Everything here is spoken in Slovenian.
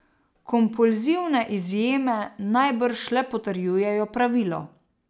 Kompulzivne izjeme najbrž le potrjujejo pravilo.